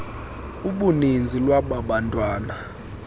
uninzi lwaba bantwana